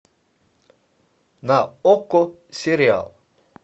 на окко сериал